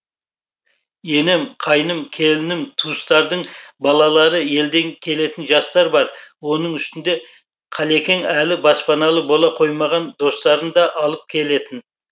енем қайным келінім туыстардың балалары елден келетін жастар бар оның үстіне қалекең әлі баспаналы бола қоймаған достарын да алып келетін